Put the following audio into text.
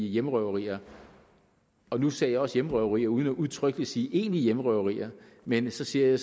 hjemmerøverier og nu sagde jeg også hjemmerøverier uden udtrykkeligt at sige egentlige hjemmerøverier men så siger